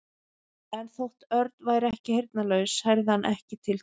En þótt Örn væri ekki heyrnarlaus heyrði hann ekki til Tóta.